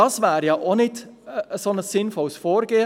– Das wäre auch kein sinnvolles Vorgehen.